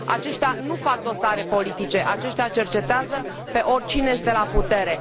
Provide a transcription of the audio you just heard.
Aceștia nu fac dosare politice, aceștia cercetează pe oricine este la putere.